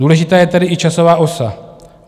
Důležitá je tedy i časová osa.